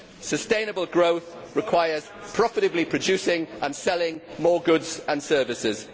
Sustainable growth requires profitably producing and selling more goods and services.